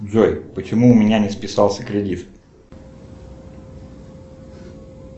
джой почему у меня не списался кредит